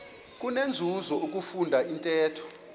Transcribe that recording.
kunenzuzo ukufunda intetho